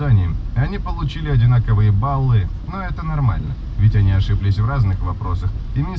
они получили одинаковые баллы но это нормально